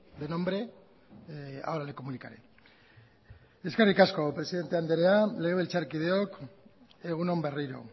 de nombre ahora le comunicaré eskerrik asko presidente andrea legabiltzarkideok egun on berriro